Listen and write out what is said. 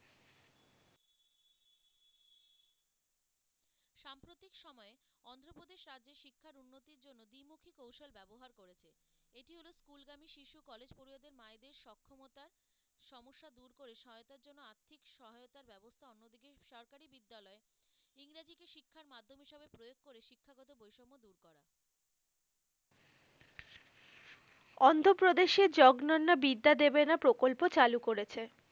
অন্ধপ্রদেশে জগ্ননা বিদ্যা দেবেনা প্রকল্প চালু করেছে।